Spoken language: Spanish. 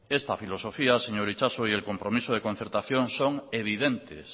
esta filosofía señor itxaso y el compromiso de concertación son evidentes